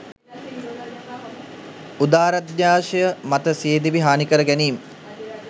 උදාරධ්‍යාශය මත සිය දිවි හානිකර ගැනීම්